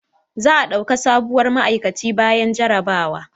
Za a dauka sabuwar ma'aikaci bayan jarabawa